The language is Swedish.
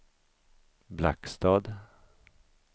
Blackstad